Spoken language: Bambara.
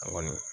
A kɔni